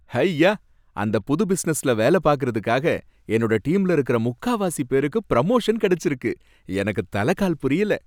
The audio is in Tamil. ஹய்யா! அந்த புது பிசினஸ்ல வேலை பார்க்கறதுக்காக என்னோட டீம்ல இருக்குற முக்காவாசி பேருக்கு புரொமோஷன் கிடைச்சுருக்கு, எனக்கு தல கால் புரியல.